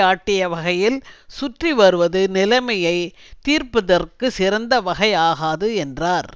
ஆட்டிய வகையில் சுற்றி வருவது நிலைமையை தீர்ப்பதற்கு சிறந்த வகை ஆகாது என்றார்